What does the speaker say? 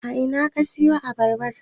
A ina ka siyo Abarba?